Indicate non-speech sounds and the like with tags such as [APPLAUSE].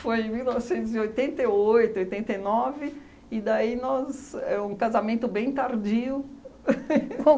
em mil novecentos e oitenta e oito, oitenta e nove, e daí nós... é um casamento bem tardio. [LAUGHS]